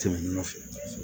Tɛmɛnen nɔfɛ